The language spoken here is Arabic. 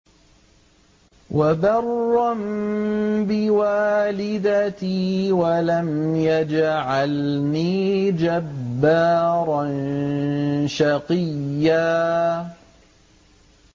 وَبَرًّا بِوَالِدَتِي وَلَمْ يَجْعَلْنِي جَبَّارًا شَقِيًّا